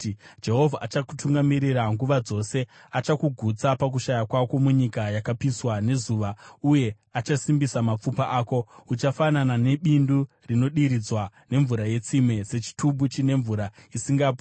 Jehovha achakutungamirira nguva dzose; achakugutsa pakushaya kwako munyika yakapiswa nezuva uye achasimbisa mapfupa ako. Uchafanana nebindu rinodiridzwa nemvura yetsime, sechitubu chine mvura isingapwi.